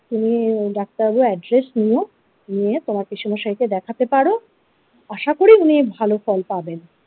তুমি ডাক্তার বাবুর আদরেস নিয়ো নিয়ে তোমার পিসেমশাইকে দেখাতে পারো আশা করি উনি ভালো ফল পাবেন।